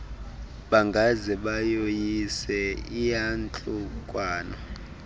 bangaze bayoyise iyantlukwano